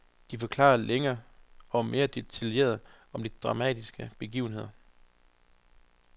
De forklarer længe og meget detaljeret om de dramatiske begivenheder.